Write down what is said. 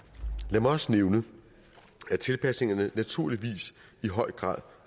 lad mig også nævne at tilpasningerne naturligvis i høj grad